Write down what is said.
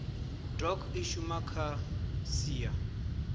doc i shuma kha sia